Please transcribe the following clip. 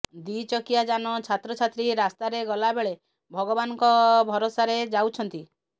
ଦି ଚକିଆ ଯାନ ଛାତ୍ର ଛାତ୍ରୀ ରାସ୍ତାରେ ଗଲାବେଳେ ଭଗବାନଙ୍କ ଭରସାରେ ଯାଉଛନ୍ତି